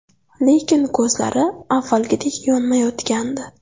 Lekin ko‘zlari avvalgidek yonmayotgandi.